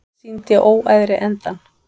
Sýndi óæðri endann